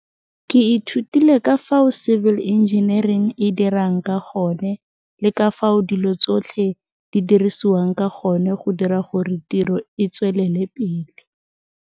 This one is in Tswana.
Ke ithutile ka fao civil engineering e dirang ka gone le ka fao dilo tsotlhe di dirisiwang ka gone go dira gore tiro e tswelele pele.